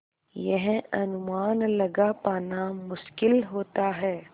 यह अनुमान लगा पाना मुश्किल होता है